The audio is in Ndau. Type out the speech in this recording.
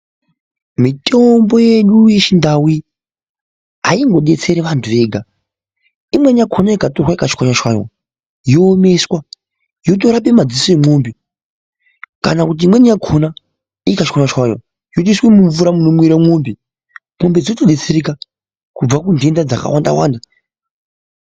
Mitombo yedu yechindau ayingodetseri vantu vega. Imweni yakona ikatorwa ikatswanywa tswanywa yoomeswa yotiswe mumadziso emombe. Kana kuti imweni yakhona ikatswanywa tswanywa yotouswe mumvura munomwire mombemombe dzotodetsereka kubva kunhenda dzakawanda Wanda.